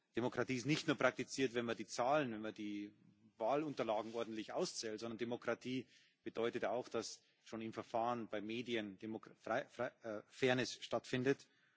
Demokratie wird nicht nur praktiziert, wenn man die Zahlen, wenn man die Wahlunterlagen ordentlich auszählt, sondern Demokratie bedeutet auch, dass schon im Verfahren bei den Medien Fairness stattfindet.